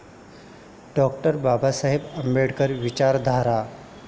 डॉ. बाबासाहेब आंबेडकर विचारधारा